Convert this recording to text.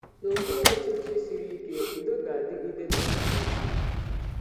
N’okpuru ọchịchị siri ike, udo ga-adịgide n’ala ahụ.